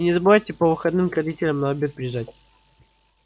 и не забывайте по выходным к родителям на обед приезжать